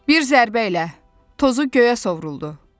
Bir zərbə ilə tozu göyə sovruldu.